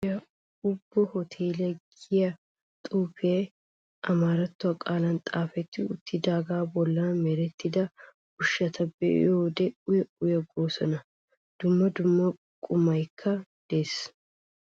Wolaytta giddon beetiya Ebu hooteeliya giya xuufee amaaratto qaalan xaafeti uttidaagaa bolla merettida ushshati be'iyode uya uya goosona. Dumma dumma qummaykka de'ees.